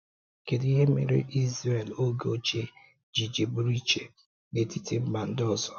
Kedu ihe mere Izrel oge ochie ji ji bụrụ iche n’etiti mba ndị ọzọ?